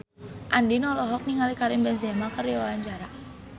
Andien olohok ningali Karim Benzema keur diwawancara